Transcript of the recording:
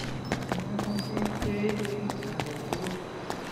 Kinamei bik cheechen akolugui